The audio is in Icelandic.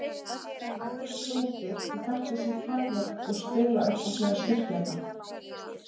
Menn eru klókir og þekkja sín takmörk og spila upp á sína styrkleika.